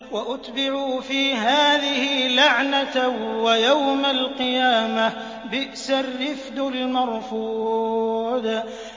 وَأُتْبِعُوا فِي هَٰذِهِ لَعْنَةً وَيَوْمَ الْقِيَامَةِ ۚ بِئْسَ الرِّفْدُ الْمَرْفُودُ